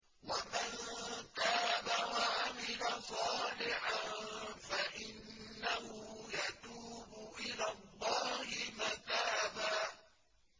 وَمَن تَابَ وَعَمِلَ صَالِحًا فَإِنَّهُ يَتُوبُ إِلَى اللَّهِ مَتَابًا